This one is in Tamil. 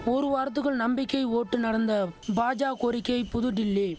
ஒரு வாரத்துக்குள் நம்பிக்கை ஓட்டு நடந்த பாஜ கோரிக்கை புதுடில்லி